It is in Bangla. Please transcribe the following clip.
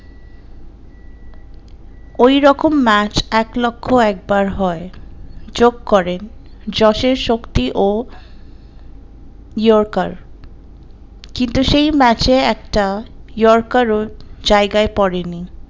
ওই রকম ম্যাচে একলক্ষে একবার হয় যোগ করেন জোসের শক্তি ও yorker কিন্তু সেই ম্যাচে একটা yorker ও জায়গায় পড়েনি